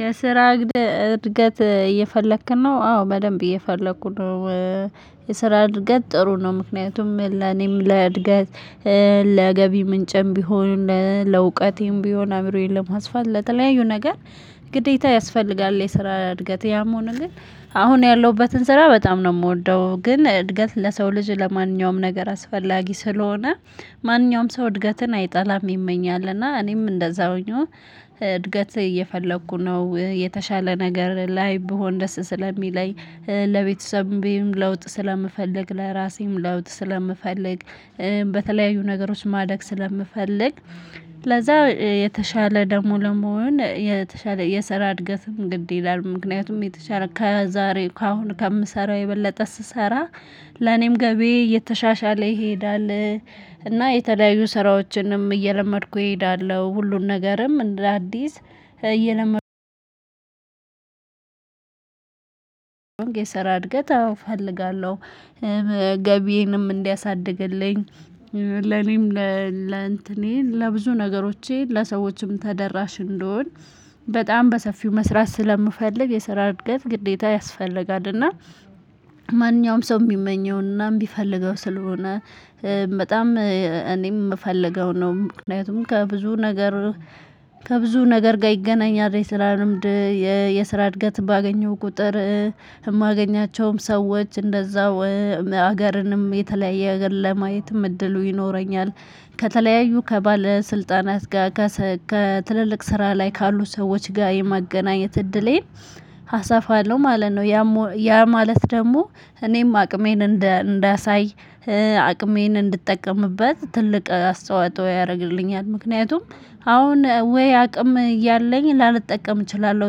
የስራ እድገት እየፈለግክ ነው አዎ በደንብ እየፈለኩ ነው። የስራ እድገት ጥሩ ነው ምክንያቱም ለኔም ለእድገት ለገቢ ምንጭም ቢሆን ለእውቀቴም ቢሆን አአምሮዬን ለማስፋት ለተለያዩ ነገር። ግዴታ ያስፈልጋል የስራ እድገት ያሞ ሆኖ ግን አሁን ያለሁበትን ስራ በጣም ነው የምወደው ግን እድገት ለሰው ልጅ ለማንኛውም ነገር አስፈላጊ ስለሆነ። ማንኛውም ሰው እድገትን አይጠላም ይመኛል እና እኔም እንደዛውኛው። እድገት እየፈለኩ ነው የተሻለ ነገር ላይ ብሆን ደስ ስለሚለኝ። ለቤተሰቤም ለውጥ ስለምፈልግ ለራሴም ለውጥ ስለምፈልግ። በተለያዩ ነገሮች ማደግ ስለምፈልግ። ለዛ የተሻለ ደግሞ ለመሆን የተሻለ የሰራ እድገትም ግድ ይላል ምክንያቱም የተሻለ ከዛሬ ካሁን ከምሰራው የበለጠ ስሰራ። ለኔም ገቤ የተሻሻለ ይሄዳል። እና የተለያዩ ስራዎችንም እየለመድኩ እሄዳለሁ ሁሉም ነገርም እንደ አዲስ እየለመድኩ። የሰራ እድገት አዎ እፈልጋለሁ። ገቢዬንም እንዲያሳድግልኝ ለኔም ለእንትኔም ለብዙ ነገሮቼ ለሰዎችም ተደራሽ እንድሆን። በጣም በሰፊው መስራት ስለምፈልግ የስራ እድገት ግዴታ ያስፈልጋልና እና ማንኛውም ሰው የሚመኘውና የሚፈልገው ስለሆነ። በጣም እኔም የምፈልገው ነው። ምክንያቱም ከብዙ ነገር ከብዙ ነገር ጋር ይገናኛል አይደል? የስራ ልምድ። የ ስራ እድገት ባገኘው ቁጥር። የማገኛቸውም ሰዎች እንደዛው። ሀገርንም የተለያየ ሀገር ለማየትም እድሉ ይኖረኛል። ከተለያዩ ከባለስልጣናት ጋር ከትልልቅ ስራ ላይ ካሉ ሰዎች ጋር የማገናኘት እድሌን። አሰፋለሁ ማለት ነው። ያ ማለት ደግሞ እኔም አቅሜን እንዳሳይ። አቅሜን እንድጠቀምበት ትልቅ አስተዋጽኦ ያደርግልኛል። ምክንያቱም አሁን ወይ አቅም እያለኝ ላልጠቀም እችላለሁ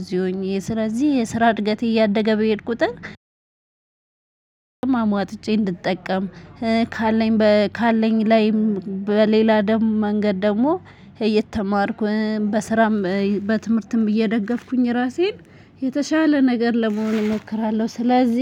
እዚሁ ሆኜ ስለዚህ የስራ እድገት እያደገ በሄድ ቁጥር አሟጥጬ እንድጠቀም። ካለኝ ካለኝ ላይም በሌላ ደግሞ መንገድ ደግሞ እየተማርኩ በስራም በትምህርትም እየደገፍኩኝ ራሴን። የተሻለ ነገር ለመሆን እሞክራለሁ ስለዚህ